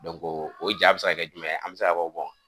o ja bi se ka kɛ jumɛn ye an bɛ se ka fɔ